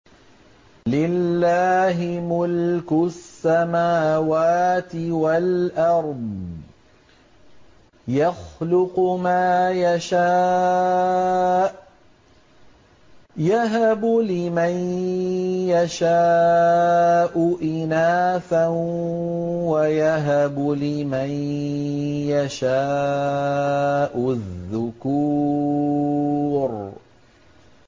لِّلَّهِ مُلْكُ السَّمَاوَاتِ وَالْأَرْضِ ۚ يَخْلُقُ مَا يَشَاءُ ۚ يَهَبُ لِمَن يَشَاءُ إِنَاثًا وَيَهَبُ لِمَن يَشَاءُ الذُّكُورَ